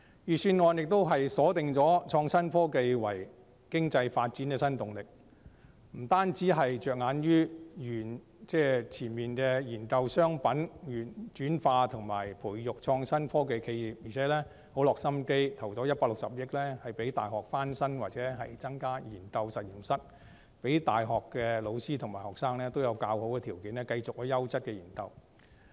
預算案亦鎖定創新科技為經濟發展的新動力，不單着眼於研究商品轉化及培育創作科技企業，並且很有心思地撥款165億元讓大學翻新或增加研究實驗室，讓大學的教師和學生有較好的條件繼續進行優質的研究。